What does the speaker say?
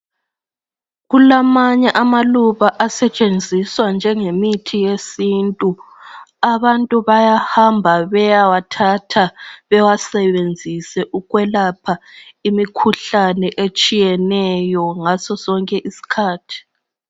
Kulamanye amaluba asetshenziswa njenge mithi yesintu . Abantu bayahamba bayewathatha bawasebenzise ukwelapha imikhuhlane etshiyeneyo ngaso sonke isikhathi